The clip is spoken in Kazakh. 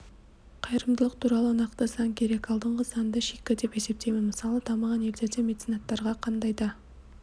қайырымдылық туралы нақты заң керек алдыңғы заңды шикі деп есептеймін мысалы дамыған елдерде меценаттарға қандай да